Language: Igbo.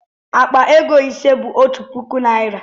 Akpa ego ise bu otu puku naira